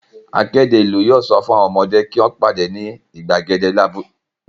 Akéde ìlú yóò sọ fún àwọn ọmọdé kí wọ́n pàdé ní ìgbàgede abúlé ní ago méjìlá ọ̀sán.